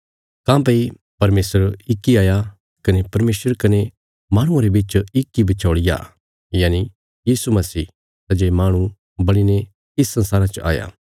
काँह्भई परमेशर इक इ हाया कने परमेशर कने माहणुआं रे बिच इक इ बिचौल़िया यनि यीशु मसीह सै जे माहणु बणीने इस संसारा च आया